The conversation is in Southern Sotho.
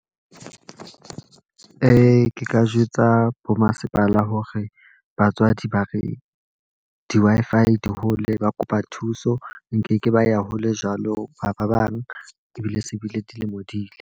Ke ka jwetsa bo masepala hore batswadi ba re di-Wi-Fi di hole, ba kopa thuso. Nkeke ba ya hole jwalo ha ba bang ebile se bile dilemo di ile.